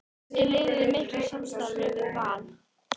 Er liðið í miklu samstarfi við Val?